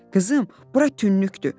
Qızım, bura tünnükdür.